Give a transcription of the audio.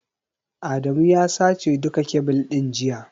Adamu ya sace duka kebil ɗin jiya.